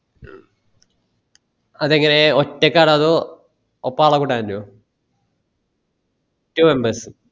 അത് എങ്ങനെ ഒറ്റക്ക് ആണോ അതോ ഒപ്പം ആളെ കൂട്ടാൻ പറ്റോ three members